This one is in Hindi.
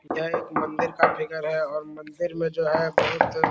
यह एक मंदिर का है और मंदिर में जो है बहुत --